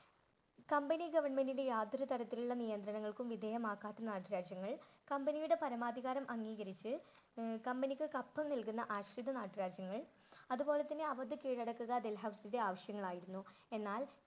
Company government ന്റെ യാതൊരു തരത്തിലുള്ള നിയന്ത്രണങ്ങൾക്കും വിധയമാകാത്ത നാട്ടുരാജ്യങ്ങൾ കമ്പനിയുടെ പരമാധികാരം അംഗീകരിച്ച് അഹ് കമ്പനിക്ക് കപ്പം നൽകുന്ന നാട്ടുരാജ്യങ്ങൾ അതുപോലെ തന്നെ അവരുടെ കീഴടക്കുക ഡൽഹൌസിയുടെ ആവശ്യങ്ങളായിരുന്നു. എന്നാൽ